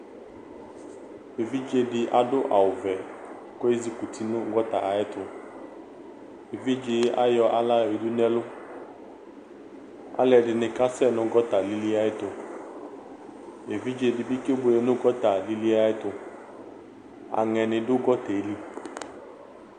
Evidze dɩ adʋ awʋvɛ kʋ ezikuti nʋ gɔta ayɛtʋ Evidze yɛ ayɔ aɣla yɔyǝdu nʋ ɛlʋ Alʋɛdɩnɩ kasɛ nʋ gɔta lili yɛ ayɛtʋ Evidze dɩ bɩ kebuele nʋ gɔta lili yɛ ayɛtʋ Aŋɛnɩ dʋ gɔta yɛ li